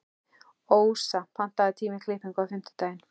Ósa, pantaðu tíma í klippingu á fimmtudaginn.